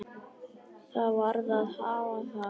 Það varð að hafa það.